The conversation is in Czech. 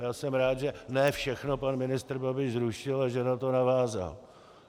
A já jsem rád, že ne všechno pan ministr Babiš zrušil a že na to navázal.